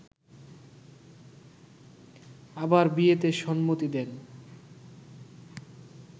আবার বিয়েতে সম্মতি দেন